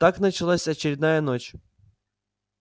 так началась очередная ночь